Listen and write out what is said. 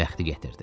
Bəxti gətirdi.